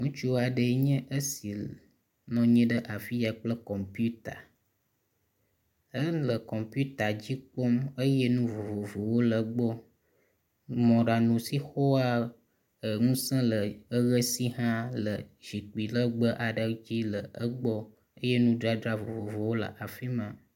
Ŋutsu aɖeɛ nye esi nɔnyi ɖe afiaa kple kɔmputa. Éle kɔmoputadzi kpɔm eyɛ nuvovowó le gbɔ. Mɔɖaŋu si xɔa e ŋuse le eɣesihã le ʒikpi legbe aɖe dzi le egbɔ eyɛ nudzadzra vovovowó hã le afimá